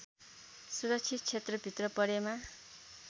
सुरक्षित क्षेत्रभित्र परेमा